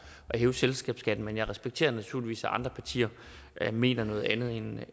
hæve selskabsskatten men jeg respekterer naturligvis at andre partier mener noget andet end